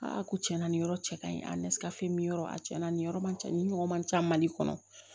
ko tiɲɛna nin yɔrɔ cɛ kaɲi a nesi ka fini mi yɔrɔ a cɛ na nin yɔrɔ man ca ni ɲɔgɔn man ca mali kɔnɔ